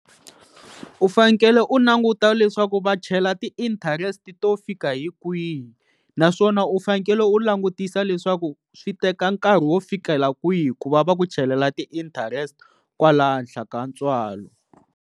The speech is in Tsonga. U fanekele u languta leswaku va chela ti-interest to fika hi kwihi naswona u fanekele u langutisa leswaku swi teka nkarhi wo fikela kwihi ku va va ku chelela ti-interest kwala henhla ka ntswalo.